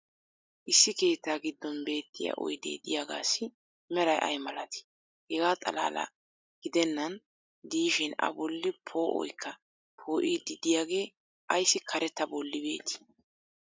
issi keettaa giddon beettiya oydee diyaagaassi meray ayi malattii? hegaa xalaala gidennan diishshin a bolli poo'oykka poo'iidi diyaagee ayssi karettaa bolli beettii?